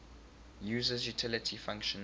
user's utility function